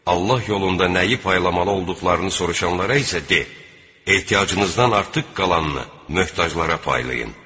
Allah yolunda nəyi paylamalı olduqlarını soruşanlara isə de: Ehtiyacınızdan artıq qalanını möhtaclara paylayın.